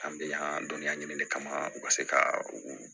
An bɛ yan dɔnniya ɲini de kama u ka se ka u